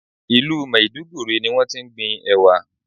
Ìlú Maiduguri ni wón ti ń gbin Ẹ̀wà.